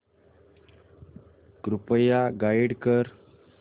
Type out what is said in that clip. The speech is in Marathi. कृपया गाईड कर